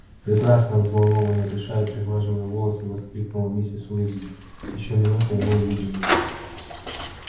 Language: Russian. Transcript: прекрасно взволнованно дыша и приглаживая волосы воскликнула миссис уизли ещё минута и мы увидим его